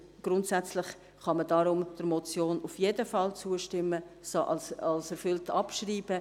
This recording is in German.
Grundsätzlich kann man deshalb der Motion auf jeden Fall zustimmen und sie als erfüllt abschreiben.